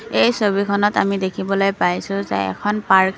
এই ছবিখনত আমি দেখিবলৈ পাইছোঁ যে এখন পাৰ্ক --